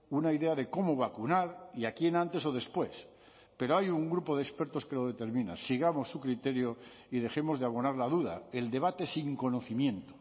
una idea de cómo vacunar y a quién antes o después pero hay un grupo de expertos que lo determina sigamos su criterio y dejemos de abonar la duda el debate sin conocimiento